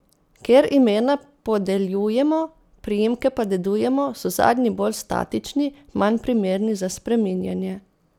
Ker imena podeljujemo, priimke pa dedujemo, so zadnji bolj statični, manj primerni za spreminjanje.